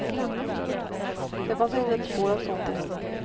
Det fanns inte ett spår av sånt i henne.